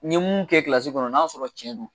N ye mun kɛ kilasi kɔnɔ n'a sɔrɔ cɛn do